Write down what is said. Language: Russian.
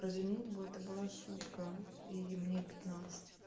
про женитьбу это была шутка и мне пятнадцать